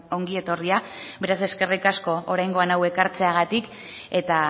ongi etorria beraz eskerrik asko oraingoan hau ekartzeagatik eta